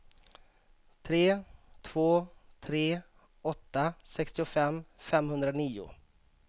tre två tre åtta sextiofem femhundranio